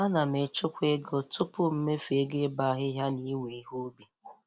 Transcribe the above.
Ana m echekwa ego tupu mmefu ego ịbọ ahịhịa na iwe ihe ubi.